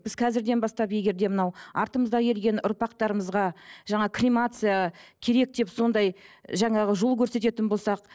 біз қазірден бастап егер де мынау артымызда ерген ұрпақтарымызға жаңа кремация керек деп сондай жаңағы жол көрсететін болсақ